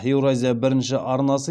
еуразия бірінші арнасы